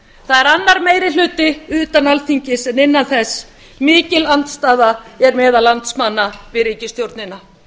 það er annar meiri hluti utan alþingis en innan þess mikil andstaða er meðal landsmanna við ríkisstjórnina